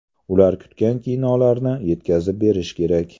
Ular kutgan kinolarni yetkazib berish kerak.